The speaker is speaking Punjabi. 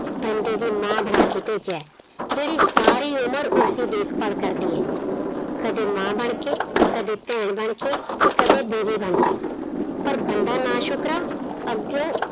ਬੰਦੇ ਦੀ ਮਾਂ ਬਣਾ ਕੇ ਭੇਜਿਆ ਹੈ ਜਿਹੜੀ ਸਾਰੀ ਉਮਰ ਉਸਦੀ ਦੇਖਭਾਲ ਕਰਦੀ ਹੈ, ਕਦੇ ਮਾਂ ਬਣਕੇ, ਕਦੇ ਭੈਣ ਬਣਕੇ ਤੇ ਕਦੇ ਬੀਵੀ ਬਣਕੇ, ਪਰ ਬੰਦਾ ਨਾ-ਸ਼ੁਕਰਾ ਅੱਗਿਓ